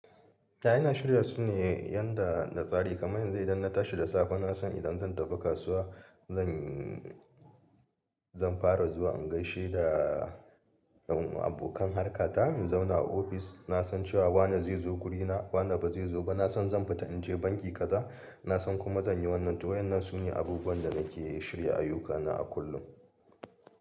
Ta yana shirya su ne yadda na tsari, kamar yanzu idan na tashi da safe na san idan zan tafi kasuwa zan, zan fara zuwa in gaishe da dan abokan harka ta in zauna a ofis. Na san cewa wane zai zo gurina wane ba zai zo ba. Na san zan fita in je banki kaza. Na san kuma zan yi wannan to waɗannan su ne abubuwan da nake shirya ayyukana a kullum.